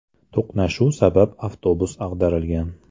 To‘qnashuv sabab avtobus ag‘darilgan.